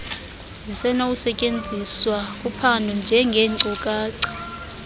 zisenokusetyenziswa kuphando njengeenkcukacha